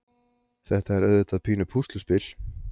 Þetta er auðvitað pínu pússluspil.